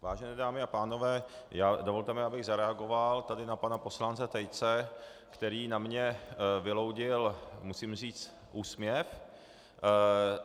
Vážené dámy a pánové, dovolte mi, abych zareagoval tady na pana poslance Tejce, který na mě vyloudil, musím říct, úsměv.